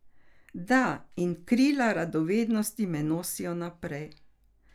Da, in krila radovednosti me nosijo naprej.